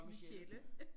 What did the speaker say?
Michelle